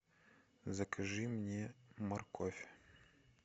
закажи мне морковь